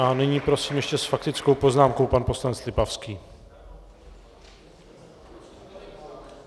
A nyní prosím ještě s faktickou poznámkou pan poslanec Lipavský.